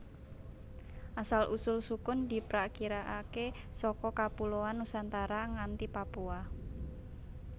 Asal usul sukun diprakirakaké saka kapuloan Nusantara nganti Papua